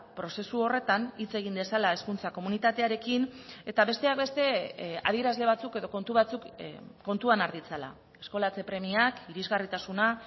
prozesu horretan hitz egin dezala hezkuntza komunitatearekin eta besteak beste adierazle batzuk edo kontu batzuk kontuan har ditzala eskolatze premiak irisgarritasuna